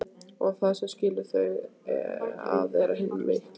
Og það sem skilur þau að er hinn mikli